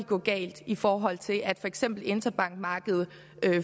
gå galt i forhold til at for eksempel interbankmarkedet